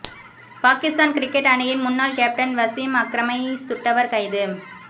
Pakistan cricket அணியின் முன்னாள் captain Wasim அக்ரமை சுட்டவர் கைது